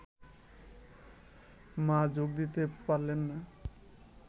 মা যোগ দিতে পারলেন না